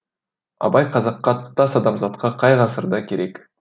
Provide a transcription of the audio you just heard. абай қазаққа тұтас адамзатқа қай ғасырда керек